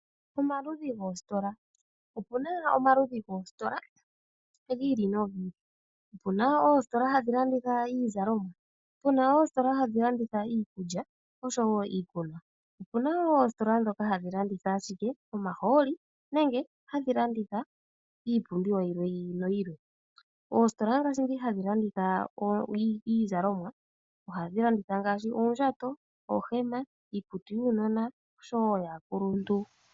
Omaludhi goositola. Opu na omaludhi goositola gi ili nogi ili. Opu na oositola hadhi landitha iizalomwa, puna oositola hadhi landitha iikulya osho wo iikunwa. Opu na wo oositola ndhoka hadhi landitha ashike omahooli nenge hadhi longitha iipumbiwa yimwe yi ili. Oositola ndhoka hadhi landitha iizalomwa, ohadhi landitha ngaashi oondjato, oohema, iikutu yuunona osho wo yaakuluntu.